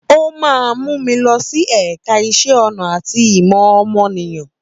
Ó máa mú mi lọ sí ẹ̀ka iṣẹ́ ọnà àti ìmọ̀ ọmọnìyàn.